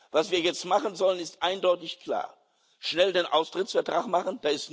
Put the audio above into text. Was wir jetzt machen sollen, ist eindeutig klar Schnell den Austrittsvertrag machen.